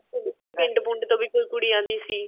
ਉਹ ਜਿਵੇਂ ਪਿੰਡ ਪੁੰਡ ਤੋ ਵੀ ਕੋਈ ਕੁੜੀ ਆਂਦੀ ਸੀ